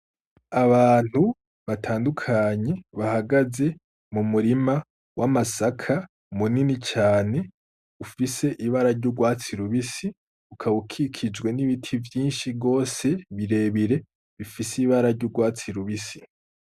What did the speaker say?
Abantu batandukanye bahagaze mu murima w'amasaka munini cane ufise ibara ry'urwatsi rubisi, ukaba ukikijwe n'ibiti vyinshi gose bire bire bifise ibara ry'urwatsi rubisi.